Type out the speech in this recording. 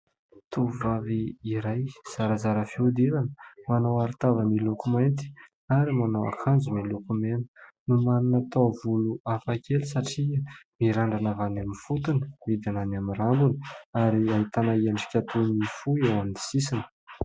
Tovovavy iray zarazara fihodirana manao arotava miloko mainty ary manao akanjo miloko mena. Manana taovolo hafakely satria mirandrana avy any amin'ny fotony, midiny any amin'ny rambony ary ahitana endrika toy ny fohy eo amin'ny sisiny.